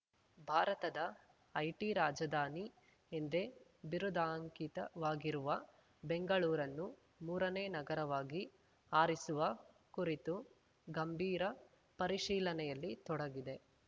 ಭಾರತದ ಐಟಿ ರಾಜಧಾನಿ ಎಂದೇ ಬಿರುದಾಂಕಿತವಾಗಿರುವ ಬೆಂಗಳೂರನ್ನು ಮೂರನೇ ನಗರವಾಗಿ ಆರಿಸುವ ಕುರಿತು ಗಂಭೀರ ಪರಿಶೀಲನೆಯಲ್ಲಿ ತೊಡಗಿದೆ